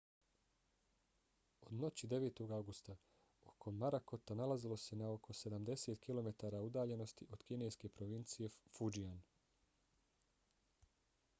od noći 9. avgusta oko morakota nalazilo se na oko sedamdeset kilometara udaljenosti od kineske provincije fujian